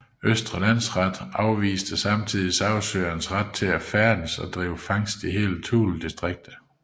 Østre Landsret afviste samtidig sagsøgernes ret til at færdes og drive fangst i hele Thuledistriktet